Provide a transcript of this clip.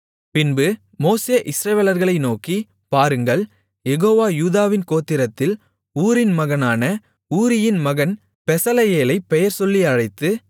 பின்பு மோசே இஸ்ரவேலர்களை நோக்கி பாருங்கள் யெகோவா யூதாவின் கோத்திரத்தில் ஊரின் மகனான ஊரியின் மகன் பெசலெயேலைப் பெயர்சொல்லி அழைத்து